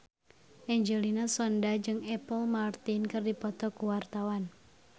Angelina Sondakh jeung Apple Martin keur dipoto ku wartawan